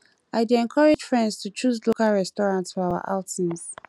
i dey encourage friends to choose local restaurants for our outings